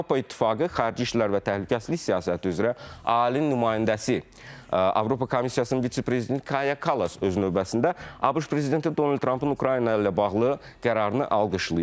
Avropa İttifaqı xarici işlər və təhlükəsizlik siyasəti üzrə ali nümayəndəsi Avropa Komissiyasının vitse-prezidenti Kaya Kallas öz növbəsində ABŞ prezidenti Donald Trampın Ukrayna ilə bağlı qərarını alqışlayır.